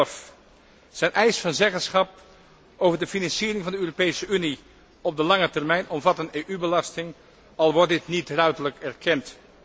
2011. Zijn eis van zeggenschap over de financiering van de Europese Unie op de lange termijn omvat een EU belasting, al wordt dit niet ruiterlijk erkend.